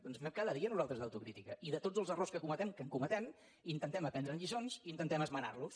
doncs en fem cada dia nosaltres d’autocrítica i de tots els errors que cometem que en cometem intentem aprendre’n lliçons i intentem esmenar los